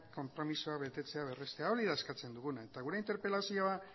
konpromisoa betetzea berrestea hori da eskatzen duguna eta gure interpelazioa